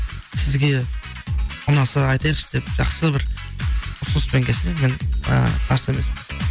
сізге ұнаса айтайықшы деп жақсы бір ұсыныспен келсе мен і қарсы емеспін